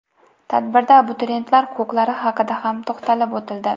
Tadbirda abituriyentlar huquqlari haqida ham to‘xtalib o‘tildi.